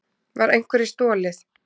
Var einhverju stolið?